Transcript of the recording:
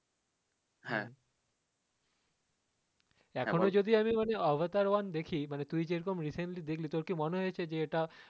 এখনও যদি মানে Avatar one দেখি মানে তুই যেরকম recently দেখলি তোর কি মনে হয়েছে যে এটা,